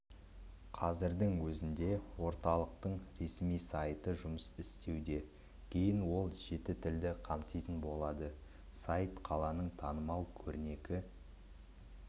қазірдің өзінде оталықтыңресми сайты жұмыс істеуде кейін ол жеті тілді қамтитын болады сайтта қаланың танымал көрнекі